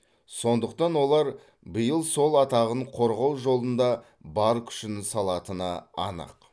сондықтан олар биыл сол атағын қорғау жолында бар күшін салатыны анық